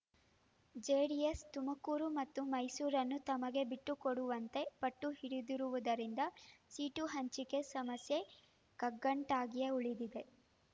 JDS Tumakuru ಮತ್ತು ಮೈಸೂರನ್ನು ತಮಗೆ ಬಿಟ್ಟುಕೊಡುವಂತೆ ಪಟ್ಟು ಹಿಡಿದಿರುವುದರಿಂದ ಸೀಟು ಹಂಚಿಕೆ ಸಮಸ್ಯೆ ಕಗ್ಗಂಟಾಗಿಯೇ ಉಳಿದಿದೆ